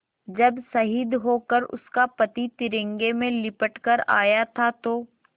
जब शहीद होकर उसका पति तिरंगे में लिपट कर आया था तो